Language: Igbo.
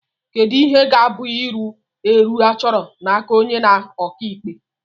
Kedu ihe ga-abụ iru èrù achọrọ n'aka onye ọka ikpe